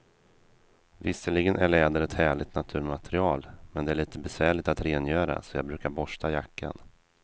Visserligen är läder ett härligt naturmaterial, men det är lite besvärligt att rengöra, så jag brukar borsta jackan.